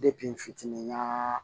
n fitinin ɲa